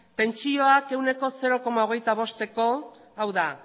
pentsioak ehuneko zero koma hogeita bosteko hau da